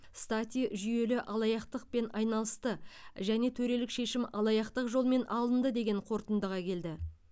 стати жүйелі алаяқтықпен айналысты және төрелік шешім алаяқтық жолмен алынды деген қорытындыға келді